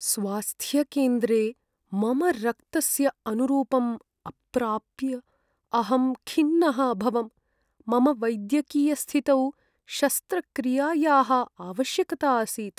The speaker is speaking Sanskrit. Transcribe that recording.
स्वास्थ्यकेन्द्रे मम रक्तस्य अनुरूपम् अप्राप्य अहं खिन्नः अभवम्। मम वैद्यकीयस्थितौ शस्त्रक्रियायाः आवश्यकता आसीत्।